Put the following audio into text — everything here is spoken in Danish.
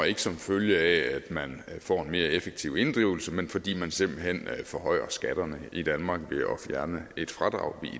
ikke som følge af at man får en mere effektiv inddrivelse men fordi man simpelt hen forhøjer skatterne i danmark ved at fjerne et fradrag